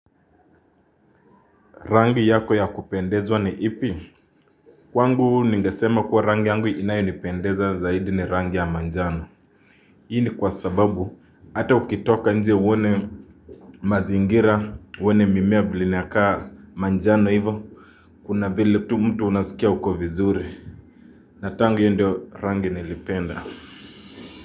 Rangi yako ya kupendezwa ni ipi? Kwangu ningesema kuwa rangi yangu inayonipendeza zaidi ni rangi ya manjano. Hii kwa sababu hata ukitoka nje uone mazingira, uone mimea vile inakaa manjano hivo. Kuna vile tu mtu unasikia uko vizuri. Na tangu hiyo ndio rangi nilipenda.